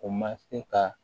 O ma se ka